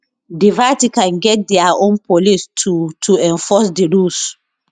di vatican get dia own police to to enforce di rules